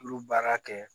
Olu baara kɛ